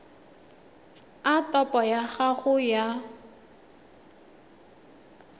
a topo ya gago ya